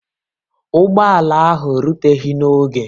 Ụgbọ ala ahụ ruteghi n'oge